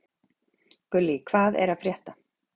Gullý, hvað er að frétta?